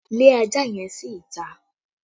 Lé ajá yẹn sí ìta!